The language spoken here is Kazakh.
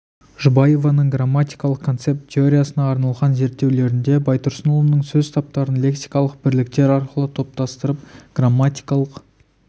жұбаеваның грамматикалық концепт теориясына арналған зерттеулерінде байтұрсынұлының сөз таптарын лексикалық бірліктер арқылы топтастырып грамматикалық